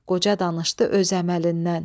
Qoca danışdı öz əməlindən.